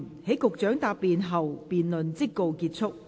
在局長答辯後，辯論即告結束。